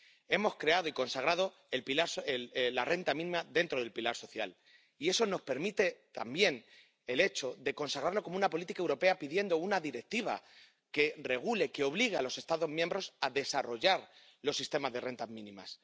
Hemos creado y consagrado la renta mínima dentro del pilar social y eso nos permite, también, consagrarla como una política europea pidiendo una directiva que regule, que obligue a los Estados miembros a desarrollar los sistemas de rentas mínimas.